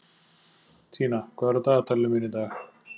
Tína, hvað er á dagatalinu mínu í dag?